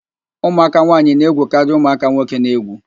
Ụmụaka nwaanyị na-egwukarị ụmụaka nwoke n'egwu